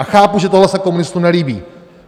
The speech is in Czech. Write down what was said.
A chápu, že tohle se komunistům nelíbí.